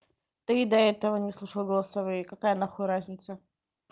ты и до этого не слушал голосовые какая нахуй разница